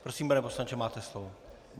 Prosím, pane poslanče, máte slovo.